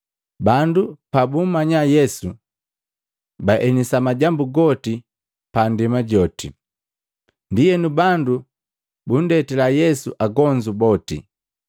Bandu pabummanya Yesu, baenisa majambu goti pa ndema joti. Ndienu bandu bundetila Yesu agonzu boti.